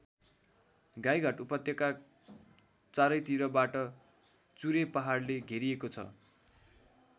गाईघाट उपत्यका चारैतिरबाट चुरे पहाडले घेरिएको छ।